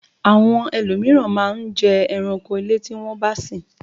Àwọn ẹlòmíràn máa n jẹ ẹranko ilé tí won bá sin